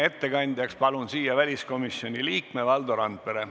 Ettekandjaks palun siia väliskomisjoni liikme Valdo Randpere.